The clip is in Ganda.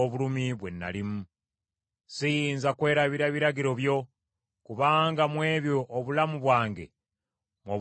Siyinza kwerabira biragiro byo; kubanga mu ebyo obulamu bwange mw’obufuulidde obuggya.